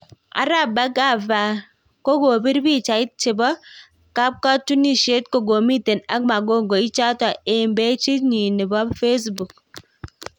Arap Bhargava kokopir pichait chepo kapkatunishet kokomiten ak magongo ichato eng pageit yin nepo Facebook